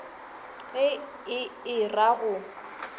ge e e ra go